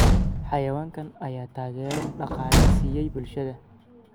Xayawaankan ayaa taageero dhaqaale siiya bulshada.